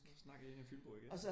Så snakkede en af fynboerne igen